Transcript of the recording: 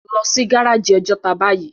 Lò si gáráji Òjòtá báyi